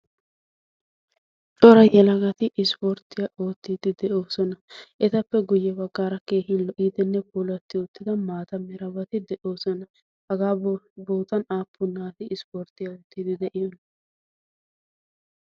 daro yelagoti ussupun dendiidi de'oosona. etappe guye bagaara ay ootiidi diyoonaa?